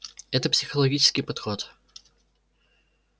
это психологический подход